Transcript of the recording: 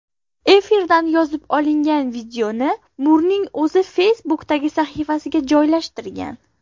Efirdan yozib olingan videoni Murning o‘zi Facebook’dagi sahifasiga joylashtirgan.